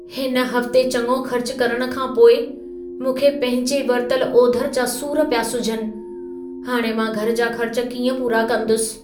हिन हफ़्ते चङो ख़र्च करण खां पोइ मूंखे पंहिंजे वरितल ओधर जा सूर पिया सुझनि। हाणि मां घर जा ख़र्च कीअं पूरा कंदुसि?